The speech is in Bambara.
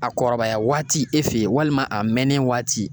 A kɔrɔbaya waati e fe yen, walima a mɛnnen waati